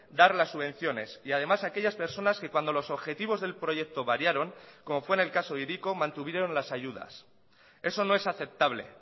dar las subvenciones y además aquellas personas que cuando los objetivos del proyecto variaron como fue en el caso hiriko mantuvieron las ayudas eso no es aceptable